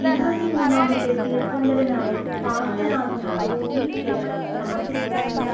ഇരുപത്തിമൂന്നാമത്തെ തീർത്ഥങ്കരനായ പാർശ്വനാഥനാണ് ഈ ക്ഷേത്രം സമർപ്പിച്ചിരിക്കുന്നത്.